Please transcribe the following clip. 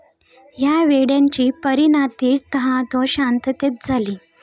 या वेड्याची परीनाती तहात व शांततेत झाली.